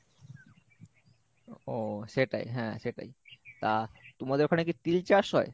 ও সেটাই হ্যাঁ সেটাই তা তোমাদের ওখানে কি তিল চাষ হয়?